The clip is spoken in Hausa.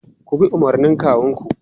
Ku bi umarnin kawunku!